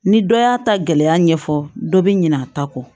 Ni dɔ y'a ta gɛlɛya ɲɛfɔ dɔ bɛ ɲinɛ a ta kɔ